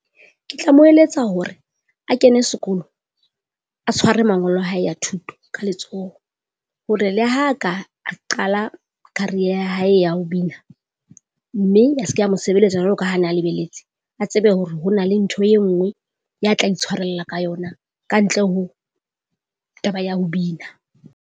Ke tla mo eletsa hore a kene sekolo, a tshware mangolo a hae a thuto ka letsoho. Hore le ha ka a qala career ya hae ya ho bina, mme ya se ke ya mo sebeletsa jwaloka ha na lebeletse. A tsebe hore hona le ntho e nngwe, ya tla itshwarella ka yona kantle ho taba ya ho bina.